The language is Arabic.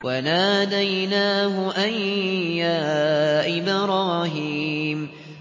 وَنَادَيْنَاهُ أَن يَا إِبْرَاهِيمُ